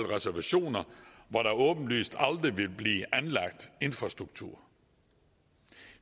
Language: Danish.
reservationer hvor der åbenlyst aldrig vil blive anlagt infrastruktur